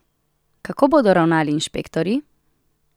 Kako bodo ravnali inšpektorji?